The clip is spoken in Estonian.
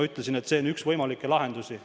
Ütlesin seal, et see on üks võimalikke lahendusi.